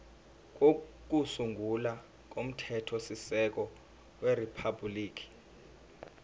kokusungula komthethosisekelo weriphabhuliki